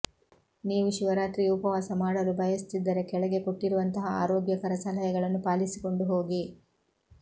ನೀವು ಶಿವರಾತ್ರಿಗೆ ಉಪವಾಸ ಮಾಡಲು ಬಯಸುತ್ತಿದ್ದರೆ ಕೆಳಗೆ ಕೊಟ್ಟಿರುವಂತಹ ಆರೋಗ್ಯಕರ ಸಲಹೆಗಳನ್ನು ಪಾಲಿಸಿಕೊಂಡು ಹೋಗಿ